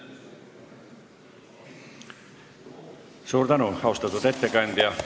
Suur tänu, austatud ettekandja!